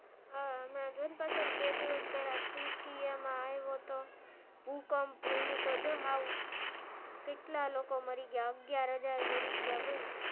હા હમણાં જો ન પેલા હ બે દિવસ પેલા તુર્કી માં આયો તો ભૂકંપ એનું તો જો હાવ કેટલા લોકો મારી ગયા અગિયાર હાજર મારી ગયા બોલ.